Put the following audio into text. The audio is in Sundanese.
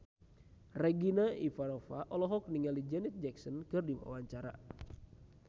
Regina Ivanova olohok ningali Janet Jackson keur diwawancara